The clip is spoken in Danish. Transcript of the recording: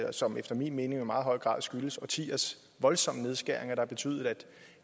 og som efter min mening jo i meget høj grad skyldes årtiers voldsomme nedskæringer har betydet